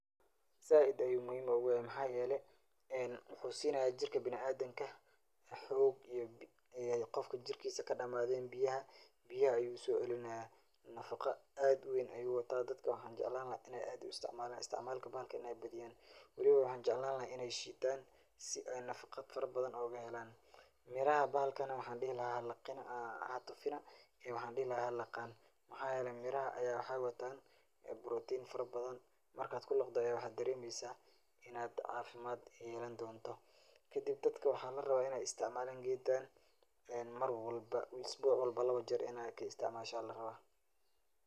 Zaaid ayu muhim ogu yahay, maxayele en muxu sinaya jirka bini adamka xog iyo qofka jirkiisa kadhamadeen biyaha, biyaha ayay uso celinayan, nafaqa aad uweyn ayu wataa dadka waxan jeclan laha in ay aad u isticmaalan, isticmaalka bahalka inay badiyan, weliba waxan jeclan laha inay shiitan si ay nafaqa fara badan oga helaan, miraha bahalkana waxan dhihi lahaa hatufina ee waxan dhihi lahaa halaqan maxa yele miraha aya waxay watan brotin fara badan markad kulaqdo aya waxad dareemeysa inad caafimad yelan donto, kadib dadka waxa la rabaa inay isticmaalan gedkan en Mar walba, isbuc walba laba jer inad ka isticmaasho aya la rabaa